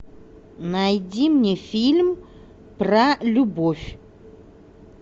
найди мне фильм про любовь